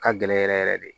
Ka gɛlɛn yɛrɛ yɛrɛ yɛrɛ de